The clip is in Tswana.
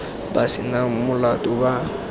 ba se nang molato ba